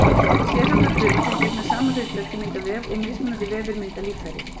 Sérhæfðar frumur sem gegna sama hlutverki mynda vef og mismunandi vefir mynda líffæri.